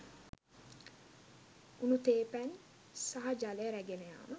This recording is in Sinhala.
උණු තේ පැන් සහ ජලය රැගෙන යාම